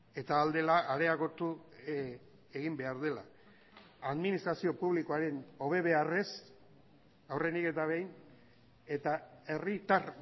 eta ahal dela areagotu egin behar dela administrazio publikoaren hobe beharrez aurrenik eta behin eta herritar